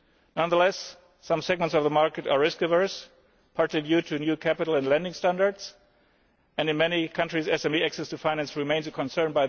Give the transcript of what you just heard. Nonetheless, some segments of the market are risk averse partly due to new capital and lending standards and in many countries, SME access to finance remains a concern.